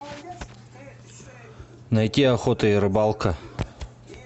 найти охота и рыбалка